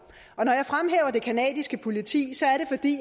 og det canadiske politi